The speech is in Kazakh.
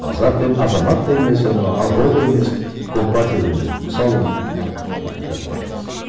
азат пен азамат та емес анау ақ жол да емес компартия да емес мысалы мына ақиқат партиясы